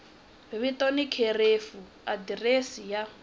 vito ni khirefu adirese ya